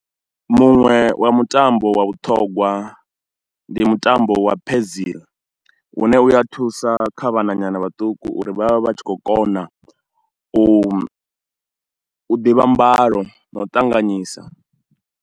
Muṅwe wa mutambo wa vhuṱhongwa ndi mutambo wa pheziya une u ya thusa kha vhananyana vhaṱuku uri vha vhe vha tshi khou kona u ḓivha mbalo na u ṱanganyisa.